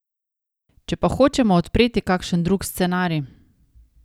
Če pa hočemo odpreti kakšen drug scenarij ...